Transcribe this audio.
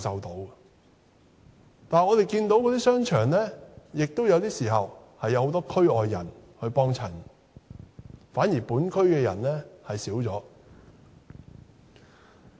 可是，我們看到那些商場有時候也有很多區外人光顧，反而本區的人卻減少了。